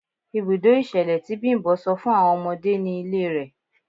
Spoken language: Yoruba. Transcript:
Ibùdó ìṣẹ̀lẹ̀ tí Bimbo sọ fún àwọn ọmọdé ni ilé rẹ̀.